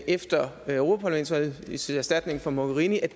efter europaparlamentsvalget til erstatning for mogherini er